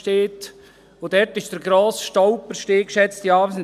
Dort, geschätzte Anwesende, sind die Schulareale der grosse Stolperstein.